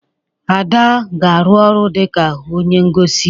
Ada ga-arụ ọrụ dị ka onye ngosi.